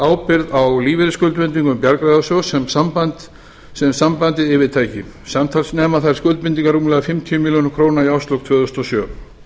ábyrgð á lífeyrisskuldbindingum bjargráðasjóðs sem sambandið yfirtæki samtals nema skuldbindingar rúmlega fimmtíu milljónir króna í árslok tvö þúsund og sjö